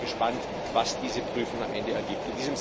das prüfen. Deswegen sind wir gespannt, was diese Prüfung am Ende